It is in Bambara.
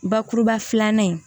Bakuruba filanan in